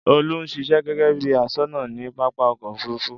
Olú ń ṣiṣẹ́ gẹ́gẹ́ bí i aṣọ́nà ní pápá ọkọ̀-òfurufú.